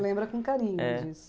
lembra com carinho disso.